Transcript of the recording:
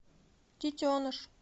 детеныш